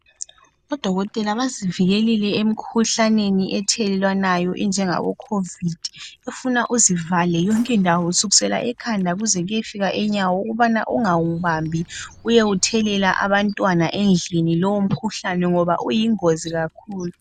Odokotela basivikelile emkhuhlaneni ethelelwanayo enjengabo khovidi. Kufuna uzivale yonke indawo kusukisela ekhanda kuze kuyefika enyawo ukubana ungawubambi uyewuthelela abantwana endlini lowo mkhuhlane ngoba uyingozi kakhulu.